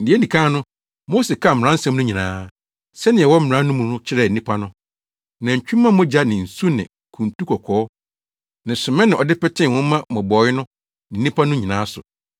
Nea edi kan no, Mose kaa mmaransɛm no nyinaa, sɛnea ɛwɔ mmara no mu no kyerɛɛ nnipa no. Nantwi mma mogya ne nsu ne kuntu kɔkɔɔ ne sommɛ na ɔde petee nwoma mmobɔwee no ne nnipa no nyinaa so